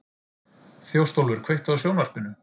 Þjóstólfur, kveiktu á sjónvarpinu.